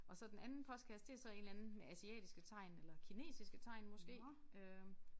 Og så den anden postkasse det så en eller anden med asiatiske tegn eller kinesiske tegn måske øh